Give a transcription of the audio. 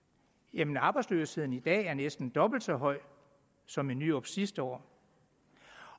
men arbejdsløsheden er i dag næsten dobbelt så høj som i nyrups sidste år